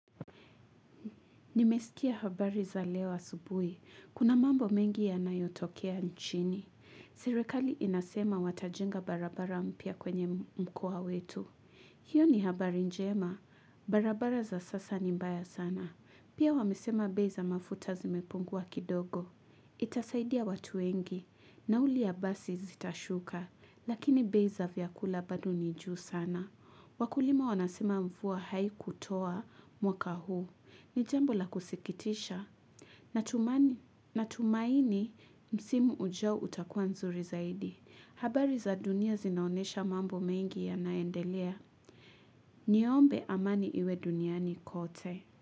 Nimesikia habari za leo asubuhi. Kuna mambo mengi yanayotokea nchini. Sirekali inasema watajenga barabara mpya kwenye mkoa wetu. Hiyo ni habari njema. Barabara za sasa ni mbaya sana. Pia wamesema bei za mafuta zimepungua kidogo. Itasaidia watu wengi. Nauli ya basi zitashuka. Lakini bei za vyakula bado ni juu sana. Wakulima wanasema mvua haikutoa mwaka huu. Ni jambo la kusikitisha. Natumaini msimu ujao utakuwa nzuri zaidi. Habari za dunia zinaonyesha mambo mengi yanaendelea. Niombe amani iwe duniani kote.